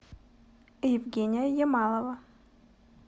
евгения ямалова